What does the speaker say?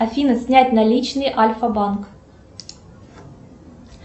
афина снять наличные альфа банк